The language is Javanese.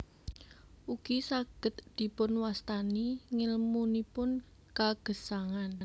Ugi saged dipunwastani ngèlmunipun kagesangan